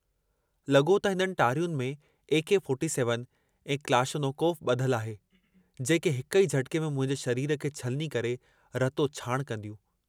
लगो त हिननि टारियुन में ए.के.-47 ऐं क्लाशनोकोफ बुधल आहे जेके हिक ई झटके में मुंहिंजे शरीर खे छलनी करे रतो छाण कन्दियूं।